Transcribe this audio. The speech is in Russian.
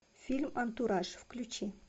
фильм антураж включи